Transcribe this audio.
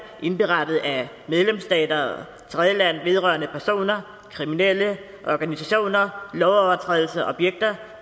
indberettet af medlemsstater og tredjelande vedrørende personer kriminelle organisationer lovovertrædelser objekter